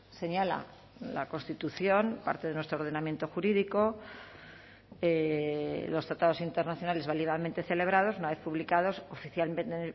señala la constitución parte de nuestro ordenamiento jurídico los tratados internacionales válidamente celebrados una vez publicados oficialmente